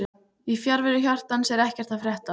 Í fjarveru hjartans er ekkert að frétta